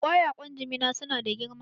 Ƙwayaƙwan Jimina su na da girma